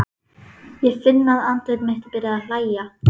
Ég finn að andlit mitt er byrjað að hlæja.